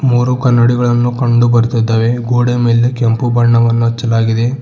ಮೂರು ಕನ್ನಡಿಗಳನ್ನು ಕಂಡು ಬರ್ತಾ ಇದ್ದವೆ ಗೋಡೆ ಮೇಲೆ ಕೆಂಪು ಬಣ್ಣವನ್ನು ಹಚ್ಚಲಾಗಿದೆ.